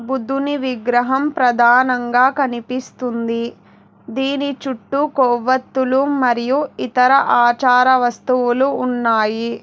బుద్ధుని విగ్రహం ప్రధానంగా కనిపిస్తుంది దీని చుట్టూ కొవ్వొత్తులు మరియు ఇతర ఆచార వస్తువులు ఉన్నాయి.